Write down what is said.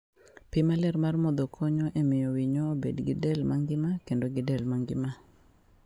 Pi maler mar modho konyo e miyo winyo obed gi del mangima kendo gi del mangima.